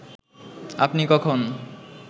আপনি কখন